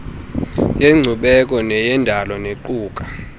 yenkcubeko neyendalo nequka